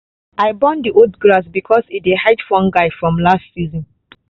i burn the old grass because e dey hold fungus from last season.